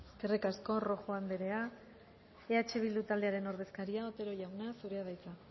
eskerrik asko rojo andrea eh bildu taldearen ordezkaria otero jauna zurea da hitza